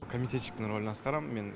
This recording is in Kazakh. комитетчиктің рөлін атқарам мен